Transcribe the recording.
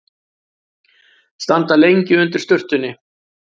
Standa lengi undir sturtunni.